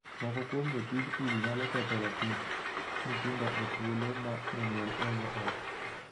Moko kuom jotij udi nyalo ketho ratich nyithindo e thuolo ma jonyuol onge ot.